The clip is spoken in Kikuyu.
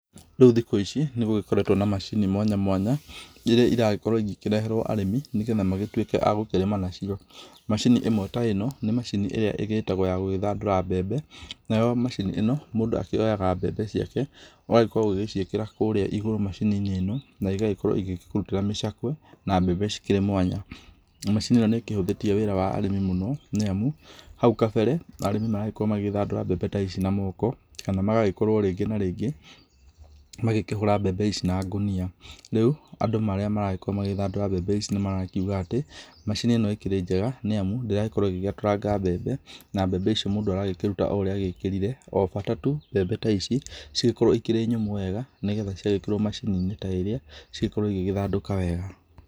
Rĩu thikũ ici nĩgũgĩkoretwo na macini mwanya mwanya, iria iragĩkorwo igĩkĩreherwo arĩmi nĩgetha magĩtuĩke a gũkĩrĩma nacio. Macini ĩmwe ta ĩno nĩ macini ĩrĩa ĩgĩtagwo ya gũgĩthandũra mbembe, nayo macini ta ĩno mũndũ akĩoyaga mbembe ciake agagĩkorwo agĩciĩkĩra kũrĩa igũrũ macini nĩ ĩno na igagĩkorwo igĩkũrutĩra mĩcakwe na mbembe cikĩrĩ mwanya. Macini ĩno nĩ ĩkĩhũthĩtie wĩra wa arĩmi mũno nĩ amu hau kabere, arĩmi marakoragwo magĩthandũra mbembe ta ici na moko kana magagĩkorwo rĩngĩ na rĩngĩ magĩkĩhũra mbembe ici na ngũnia. Rĩu andũ arĩa maragĩkorwo magĩthandũra mbembe ici nĩmarakiuga atĩ macini ĩno nĩ njega nĩamu ndĩragĩkorwo ĩgĩetũranga mbembe na mbembe icio mũndũ aragĩkĩruta o ũrĩa agĩkĩrire o bata tu mbembe ta ici cigĩkorwo ikĩrĩ nyũmũ wega nĩgetha ciagĩkĩrwo macini -nĩ ta ĩrĩa cigagĩkorwo cigĩgĩthandũka wega.